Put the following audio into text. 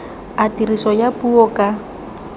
a tiriso ya puo ka